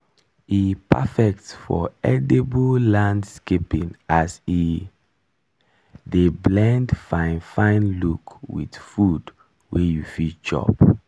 e perfect for edible landscaping as e dey blend fine fine look with food wey you fit chop.